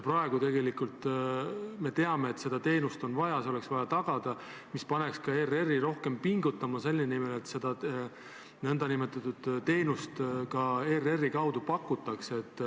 Praegu me teame, et seda teenust on vaja, see oleks vaja tagada, mis paneks ka ERR-i rohkem pingutama selle nimel, et seda nn teenust ka ERR-i kaudu pakutaks.